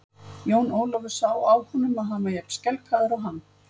Jón Ólafur sá á honum að hann var jafn skelkaður og hann.